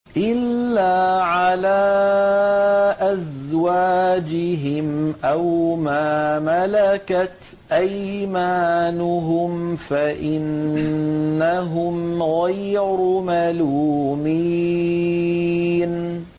إِلَّا عَلَىٰ أَزْوَاجِهِمْ أَوْ مَا مَلَكَتْ أَيْمَانُهُمْ فَإِنَّهُمْ غَيْرُ مَلُومِينَ